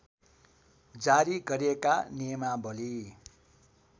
जारी गरिएका नियमावली